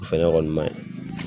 O fɛnɛ ma ɲi